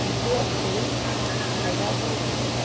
Viver bem é a melhor vingança.